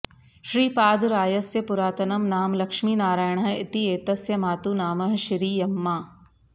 श्रीपादरायस्य पुरातनं नाम लक्ष्मीनारायणः इति एतस्य मातु नामः शिरियम्मा